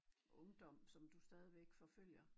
Ungdom som du stadigvæk forfølger